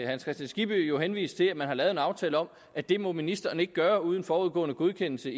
hans kristian skibby jo henvise til at man har lavet en aftale om at det må ministeren ikke gøre uden forudgående godkendelse